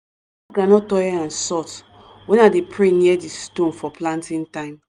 groundnut oil and salt when i dey pray near di stone for planting time.